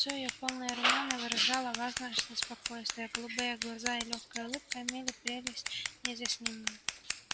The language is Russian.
лицо её полное и румяное выражало важность и спокойствие а голубые глаза и лёгкая улыбка имели прелесть неизъяснимую